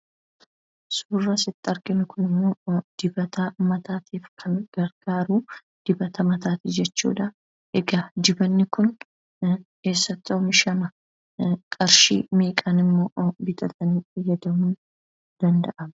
Suurri asitti arginu kun dibata mataaf kan gargaaruu dibata mataati jechuudha. Egaa dibanni kun eessatti oomishama? Qarshii meeqanimmoo bitatanii itti fayyadamuu danda'a?